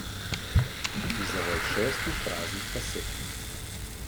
In zavoj šestih praznih kaset.